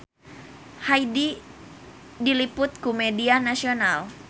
Hyde diliput ku media nasional